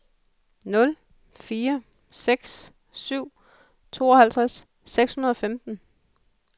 nul fire seks syv tooghalvtreds seks hundrede og femten